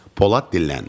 Polad dilləndi.